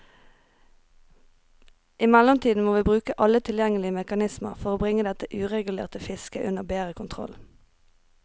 I mellomtiden må vi bruke alle tilgjengelige mekanismer for bringe dette uregulerte fisket under bedre kontroll.